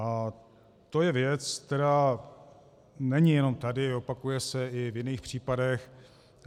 A to je věc, která není jenom tady, opakuje se i v jiných případech.